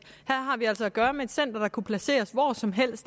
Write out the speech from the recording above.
har vi altså at gøre med et center der kunne placeres hvor som helst